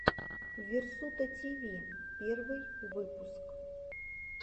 версутативи первый выпуск